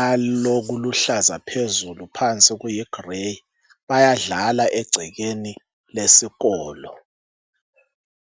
alokuluhlaza phezulu phansi kulokuyigrey bayadlala egcekeni lesikolo